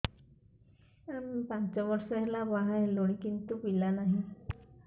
ଆମେ ପାଞ୍ଚ ବର୍ଷ ହେଲା ବାହା ହେଲୁଣି କିନ୍ତୁ ପିଲା ନାହିଁ